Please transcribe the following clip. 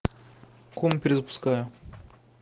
комп перезапускаю